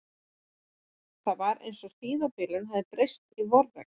Það var eins og hríðarbylurinn hefði breyst í vorregn.